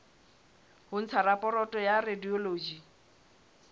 ho ntsha raporoto ya radiology